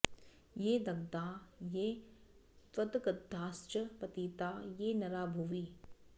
ये दग्धा ये त्वदग्धाश्च पतिता ये नरा भुवि